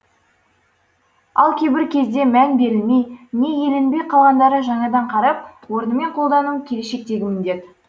ал кейбір кезде мән берілмей не еленбей қалғандарын жаңадан қарап орнымен қолдану келешектегі міндет